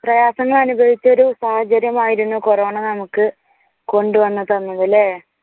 പ്രയാസങ്ങൾ അനുഭവിച്ച ഒരു സാഹചര്യം ആയിരുന്നു കൊറോണ നമുക്ക് കൊണ്ടുവന്നു തന്നതല്ലേ?